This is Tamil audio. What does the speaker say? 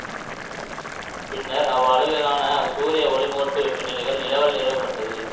பின்னர் அவ்வளவிலான சூரிய ஒளிமுகட்டு வெப்பநிலைகள் நிலவல் நிறுவப்பட்டது